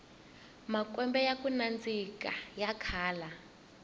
makwembe yaku nandzika ya kala